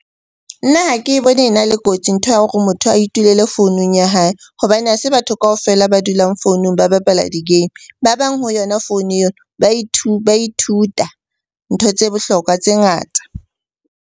Nna ha ke bone e na le kotsi ntho ya hore motho a itulele founung ya hae hobane ha se batho kaofela ba dulang founung ba bapala di-game. Ba bang ho yona founu eo, ba ithuta ntho tse bohlokwa tse ngata.